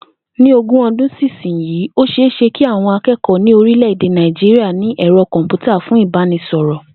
Ní ogún o̩dún sísinyìí, ó ṣe é ṣe kí àwọn aké̩kò̩ó̩ ní orílè̩-èdè Nàìjíríà ní è̩ro̩ kò̩m̀pútà fún ìbánisò̩rò̩